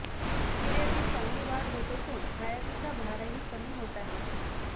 निर्यातीत चांगली वाढ होत असून आयातीचा भारही कमी होत आहे